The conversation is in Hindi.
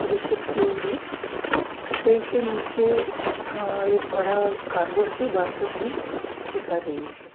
प्रदर्शित किए इधर कपड़े के नीचे अअअ एक बड़ा कार्डबोर्ड का बास्केट भी दिखा रही है।